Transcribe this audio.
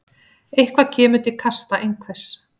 Eitthvað kemur til kasta einhvers